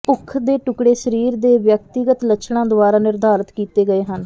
ਭੁੱਖ ਦੇ ਟੁਕਡ਼ੇ ਸਰੀਰ ਦੇ ਵਿਅਕਤੀਗਤ ਲੱਛਣਾਂ ਦੁਆਰਾ ਨਿਰਧਾਰਤ ਕੀਤੇ ਗਏ ਹਨ